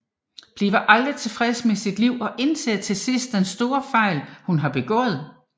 Bliver aldrig tilfreds med sit liv og indser til sidst den store fejl hun har begået